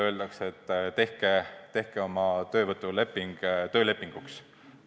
Öeldakse, et tehke oma töövõtuleping töölepinguks.